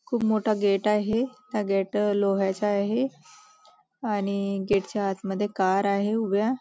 खूप मोठा गेट आहे त्या गेट लोह्याचा आहे आणि गेट च्या आत मध्ये कार आहे उभ्या.